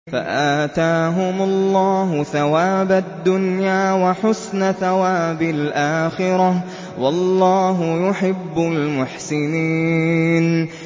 فَآتَاهُمُ اللَّهُ ثَوَابَ الدُّنْيَا وَحُسْنَ ثَوَابِ الْآخِرَةِ ۗ وَاللَّهُ يُحِبُّ الْمُحْسِنِينَ